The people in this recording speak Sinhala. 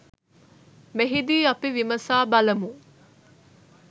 මෙහිදී අපි විමසා බලමු.